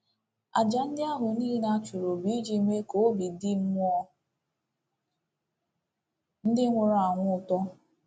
Àjà ndị ahụ niile a chụrụ bụ iji mee ka obi dị mmụọ ndị nwụrụ anwụ ụtọ.